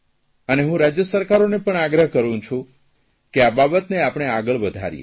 અને હું રાજય સરકારોને પણ આગ્રહ કરૂં છું કે આ બાબતને આપણે આગળ વધારીએ